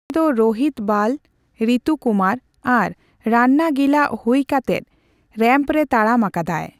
ᱩᱱᱤ ᱫᱚ ᱨᱳᱦᱤᱛ ᱵᱟᱞ, ᱨᱤᱛᱩ ᱠᱩᱢᱟᱨ ᱟᱨ ᱨᱟᱱᱱᱟ ᱜᱤᱞᱟᱜ ᱦᱩᱭ ᱠᱟᱛᱮᱫ ᱨᱮᱢᱯᱨᱮ ᱛᱟᱲᱟᱢ ᱟᱠᱟᱫᱟᱭ ᱾